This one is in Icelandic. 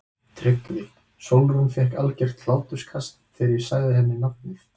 TRYGGVI: Sólrún fékk algert hláturskast þegar ég sagði henni nafnið.